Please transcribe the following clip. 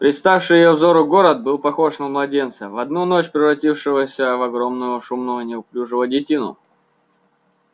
представший её взору город был похож на младенца в одну ночь превратившегося в огромного шумного неуклюжего детину